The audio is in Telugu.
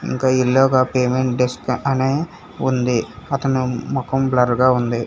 ఇంకా ఎల్లో గా పేమెంట్ డెస్క్ అని ఉంది అతను మొఖం బ్లర్ గా ఉంది.